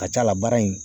Ka ca ala in